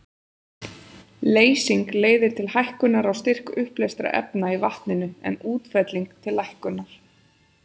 Leysing leiðir til hækkunar á styrk uppleystra efna í vatninu, en útfelling til lækkunar.